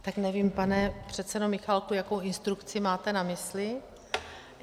Tak nevím, pane předsedo Michálku, jakou instrukci máte na mysli.